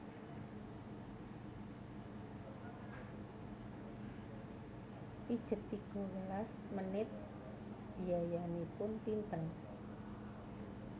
Pijet tiga welas menit biayanipun pinten